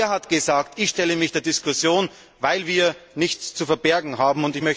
Er hat gesagt Ich stelle mich der Diskussion, weil wir nichts zu verbergen haben.